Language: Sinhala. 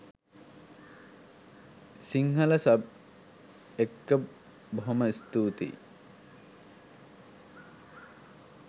සිංහල සබ් එක්ක බොහොම ස්තූතියි